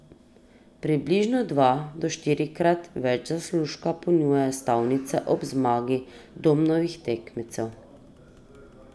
Približno dva do štirikrat več zaslužka ponujajo stavnice ob zmagi Domnovih tekmecev.